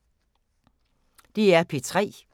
DR P3